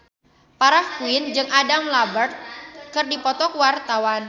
Farah Quinn jeung Adam Lambert keur dipoto ku wartawan